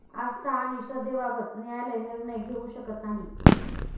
आस्था आणि श्रद्धेबाबत न्यायालय निर्णय घेऊ शकत नाही.